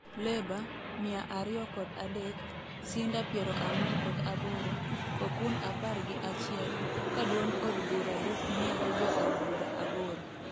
Leba, mia ariyo kod adek, Sinda piero ang'wen kod aboro ,kokun apar gi achiel, ka duond od bura Dup miyore jood bura aboro